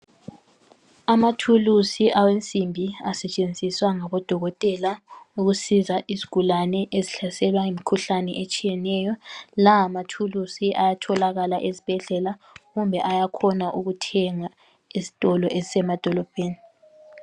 Amathulusi awensimbi asetshenziswa ngabodokotela ukusiza izigulane ezihlaselwa yimkhuhlane etshiyeneyo, lamathulusi ayatholakala ezibhedlela kumbe ayakhona ukuthengwa esitolo ezisemadolobheni.